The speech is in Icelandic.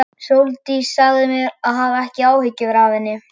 Sóldís sagði mér að hafa ekki áhyggjur af henni.